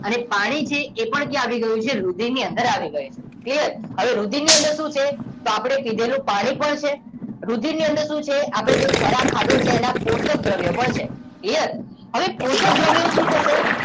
અને પાણી છે એ પણ ત્યાં આવી ગયું છે રુધિરની અંદર આવી ગયું clear હવે રુધિરની અંદર શું છે તો આપણે પીધેલું પાણી પણ છે રુધિર ની અંદર શું છે આપણે જે ખોરાક ખાધો છે એના પોષક દ્રવ્યો ભળશે clear હવે પોષક દ્રવ્યો શું થશે